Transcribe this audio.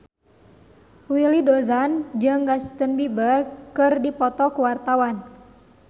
Willy Dozan jeung Justin Beiber keur dipoto ku wartawan